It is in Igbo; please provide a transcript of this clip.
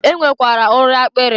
E nwekwara ori akpịrị.